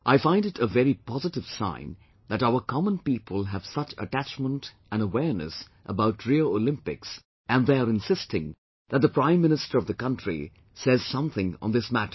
I find it a very positive sign that our common people have such attachment and awareness about Rio Olympics and they are insisting that the Prime Minister of the country says something on this matter